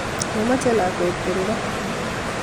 Momoche lakwet koru ra